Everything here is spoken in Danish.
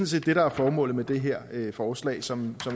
set det der er formålet med det her forslag som